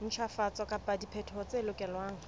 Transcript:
ntjhafatso kapa diphetoho tse lokelwang